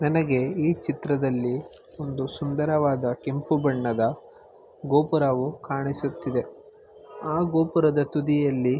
ನನಗೆ ಈ ಚಿತ್ರದಲ್ಲಿ ಒಂದು ಸುಂದರವಾದ ಕೆಂಪು ಬಣ್ಣದ ಗೋಪುರವು ಕಾಣಿಸುತ್ತಿದೆ ಆ ಗೋಪುರದ ತುದಿಯಲ್ಲಿ--